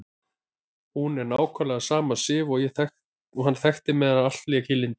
Hún er nákvæmlega sama Sif og hann þekkti meðan allt lék í lyndi.